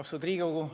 Austatud Riigikogu!